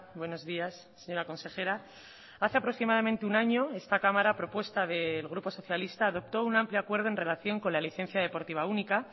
buenos días señora consejera hace aproximadamente un año esta cámara a propuesta del grupo socialista adoptó un amplio acuerdo en relación con la licencia deportiva única